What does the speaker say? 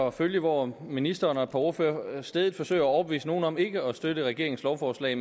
at følge hvor ministeren og et par ordførere stædigt forsøger at overbevise nogen om ikke at støtte regeringens lovforslag